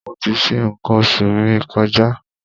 Mo ti ṣe nǹkan oṣù mi kọjá.